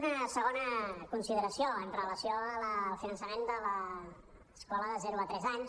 una segons consideració amb relació al finançament de l’escola de zero tres anys